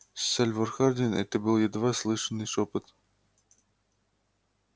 сальвор хардин это был едва слышный шёпот